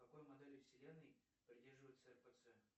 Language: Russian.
какой модели вселенной придерживается рпц